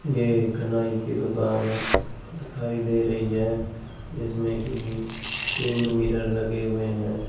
यह एक नाई की दुकान दिखाई दे रही है जिसमें कि तीन मिरर लगे हुए हैं।